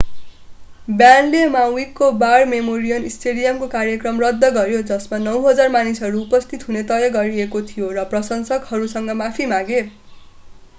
ब्यान्डले माउवीको war memorial स्टेडियमको कार्यक्रम रद्द गर्‍यो जसमा 9,000 मानिसहरू उपस्थित हुने तय गरिएको थियो र प्रशंसकहरूसँग माफी मागे।